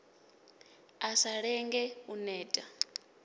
a sa lenge u neta